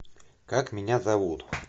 как меня зовут